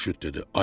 Xurşud dedi: